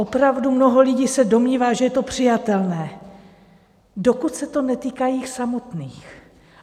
Opravdu mnoho lidí se domnívá, že je to přijatelné, dokud se to netýká jich samotných.